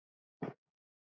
Við vorum miklir vinir.